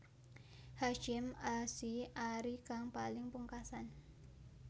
Hasyim Asy arie kang paling pungkasan